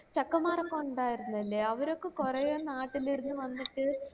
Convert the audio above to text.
ചെക്കന്മാരൊക്കെ ഇണ്ടായിരുന്നില്ലേ അവരൊക്കെ കൊറേ നാട്ടില് ഇരുന്നു വന്നിട്ട്